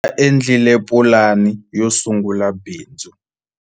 va endlile pulani yo sungula bindz